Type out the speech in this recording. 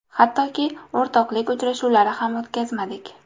Hattoki, o‘rtoqlik uchrashuvlari ham o‘tkazmadik.